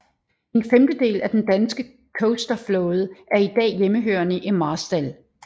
En femtedel af den danske coasterflåde er i dag hjemmehørende i Marstal